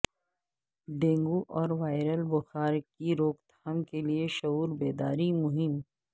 dengue اور viral بخار کی روک تھام کیلئے شعور بیداری مہم